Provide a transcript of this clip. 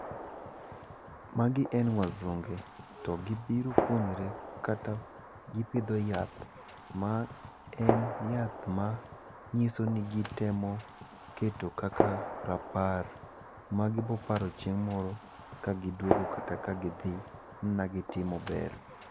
Magi en wasunge to gibiro puonjre kata gipidho yath ma en yath manyiso ni gitemo keto kaka rapar. Magibo paro chieng' moro kaduogo kata ka gidhi ni ne gitimo ber.